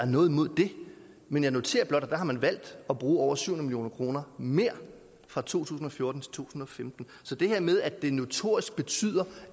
noget imod det men jeg noterer blot at man har valgt at bruge over syv hundrede million kroner mere fra to tusind og fjorten til to tusind og femten så det her med at det notorisk betyder